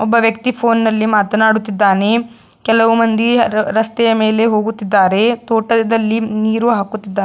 ಒಬ್ಬ ವ್ಯಕ್ತಿ ಫೋನಿನಲ್ಲಿ ಮಾತನಾಡುತ್ತಿದ್ದಾನೆ ಕೆಲವು ಮಂದಿ ರಸ್ತೆಯ ಮೇಲೆ ಹೋಗುತ್ತಿದ್ದಾರೆ ತೋಟದಲ್ಲಿ ನೀರು ಹಾಕುತ್ತಿದ್ದಾರೆ.